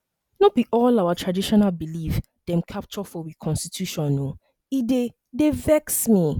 no be all our traditional belief dem capture for we constitution o e dey dey vex me